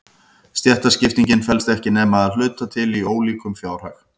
Stéttaskiptingin felst ekki nema að hluta til í ólíkum fjárhag.